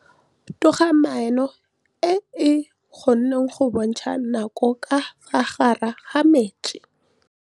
Toga-maanô e, e kgona go bontsha nakô ka fa gare ga metsi.